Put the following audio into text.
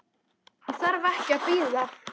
Ég þarf ekki að bíða.